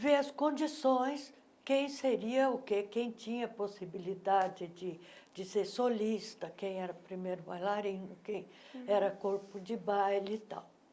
ver as condições, quem seria o quê, quem tinha a possibilidade de ser solista, quem era primeiro bailarino, quem era corpo de baile e tal.